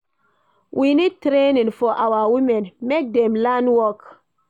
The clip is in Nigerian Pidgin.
We need training for our women, make dem learn work.